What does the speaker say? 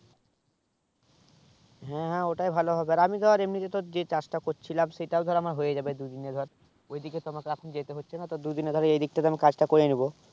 হ্যাঁ হ্যাঁ ওটাই হবে ভালো আমি ধর এমনি যে কাজ তা কর ছিলাম সেটাও ধর আমার হয়ে যাবে দুই দিনে ধর ঐই দিকে তো আমাকে এখন যেতে হচ্ছে না তো দুই দিনে ধর এই দিক তা আমি কাজ তা করে নিবো